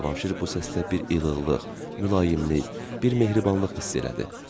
Və Cavanşir bu səsdə bir ilıqlıq, mülayimlik, bir mehribanlıq hiss elədi.